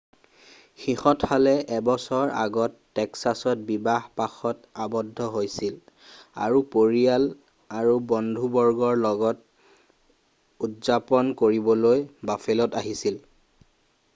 সিহঁতহালে এবছৰ আগত টেক্সাছত বিবাহ পাশত আৱদ্ধ হৈছিল আৰু পৰিয়াল আৰু বন্ধুবৰ্গৰ লগত উদযাপন কৰিবলৈ বাফেলোত আহিছিল